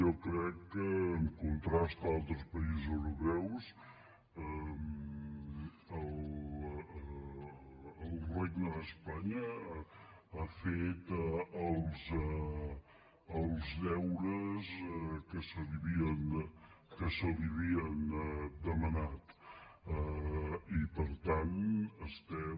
jo crec que en contrast amb altres països europeus el regne d’espanya ha fet els deures que se li havien demanat i per tant estem